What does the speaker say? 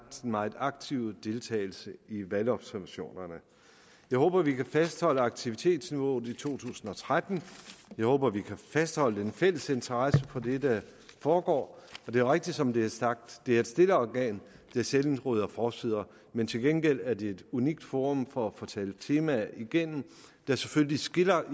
den meget aktive deltagelse i valgobservationerne jeg håber at vi kan fastholde aktivitetsniveauet i to tusind og tretten jeg håber at vi kan fastholde den fælles interesse for det der foregår det er rigtigt som det er sagt det er et stille organ der sjældent rydder forsider men til gengæld er det et unikt forum for at få talt temaer igennem der selvfølgelig skiller